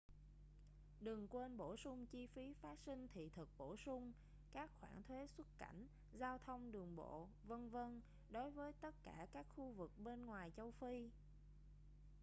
đừng quên bổ sung chi phí phát sinh thị thực bổ sung các khoản thuế xuất cảnh giao thông đường bộ v.v. đối với tất cả các khu vực bên ngoài châu phi